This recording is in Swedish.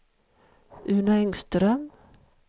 Uno Engström